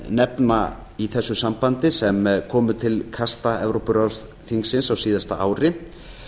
nefna í þessu sambandi sem komu til kasta evrópuráðsþingsins á síðasta ári